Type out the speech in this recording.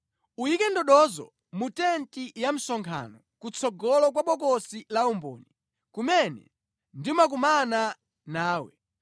Uyike ndodozo mu tenti ya msonkhano, kutsogolo kwa Bokosi la Umboni, kumene ndimakumana nawe.